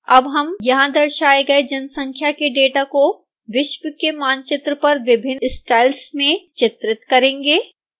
अब हम यहां दर्शाए गए जनसंख्या के डेटा को विश्व के मानचित्र पर विभिन्न स्टाइल्स में चित्रित करेंगे